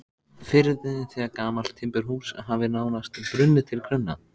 firði þegar gamalt timburhús hafði nánast brunnið til grunna.